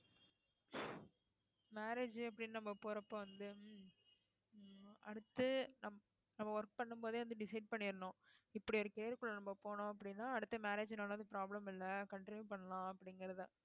marriage அப்படின்னு நம்ம போறப்ப வந்து அடுத்து நம்~ நம்ம work பண்ணும் போதே வந்து decide பண்ணிடனும் இப்படி ஒரு நம்ம போனோம் அப்படின்னா அடுத்த marriage னால problem இல்லை continue பண்ணலாம் அப்படிங்கிறதை